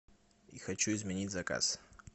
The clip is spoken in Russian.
хочу изменить заказ